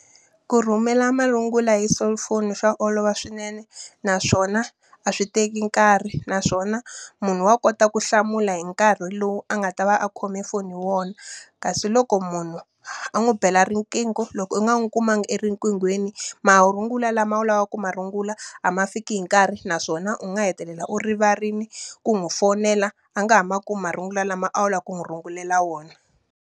Ku rhumela marungula hi cellphone swa olova swinene, naswona a swi teki nkarhi. Naswona munhu wa kota ku hlamula hi nkarhi lowu a nga ta va a khome foni hi wona. Kasi loko munhu a n'wi bela riqingho loko u nga n'wi kumanga erinqinghweni, marungula lama a wu lava ku ma rungula a ma fiki hi nkarhi naswona u nga hetelela u rivarile ku n'wi fonela, a nga ha ma kumi marungula lama a wu lava ku n'wi rungulela wona.